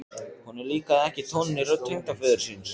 Honum líkaði ekki tónninn í rödd tengdaföður síns.